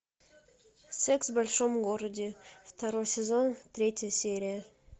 секс в большом городе второй сезон третья серия